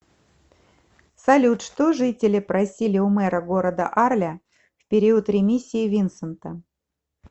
салют что жители просили у мэра города арля в период ремиссии винсента